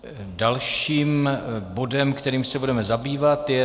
Dalším bodem, kterým se budeme zabývat, je